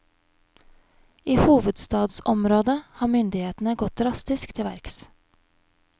I hovedstadsområdet har myndighetene gått drastisk til verks.